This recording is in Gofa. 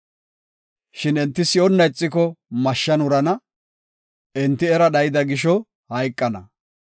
Shin enti si7onna ixiko mashshan wurana; enti era dhayida gisho hayqana.